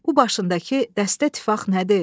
Bu başındakı dəstə tifaq nədir?